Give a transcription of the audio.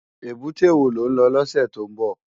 Ébùté wó ló n lò lòsè tó n bò?